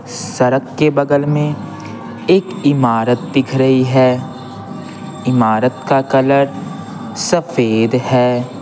सड़क के बगल में एक इमारत दिख रही है इमारत का कलर सफेद है।